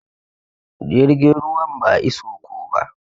Jirgin ruwan ba iso ko ba.